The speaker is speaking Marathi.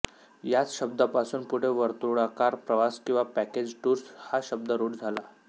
याच शब्दापासून पुढे वर्तुळाकार प्रवास किंवा पॅकेज टूर्स हा शब्द रुढ झाला